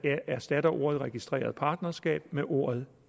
erstatter ordene registreret partnerskab med ordet